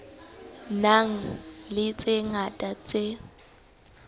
nang le tse ngata tse